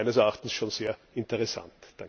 Das ist meines Erachtens schon sehr interessant.